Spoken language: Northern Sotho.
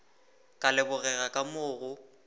ka lebogega ka moo go